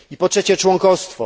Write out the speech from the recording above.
Po trzecie członkostwo.